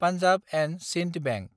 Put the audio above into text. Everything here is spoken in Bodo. पान्जाब & सिन्द बेंक